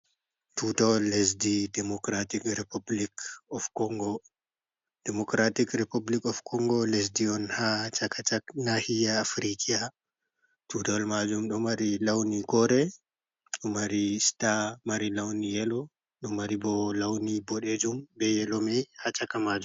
Tootawal lesdi dimocratic of Congo, Democratic repoplik of Congo lesdi on haa caka cak naahiya Afrikiyya, Tuutawal mani ɗon mari lawni koore, mari star mari lawni yelo, ɗon mari boo lawni boɗeejum bee yelo may haa caka maajum.